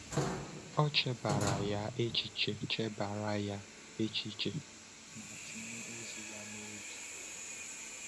O chebara ya echiche chebara ya echiche ma tinye ozi ya n’obi.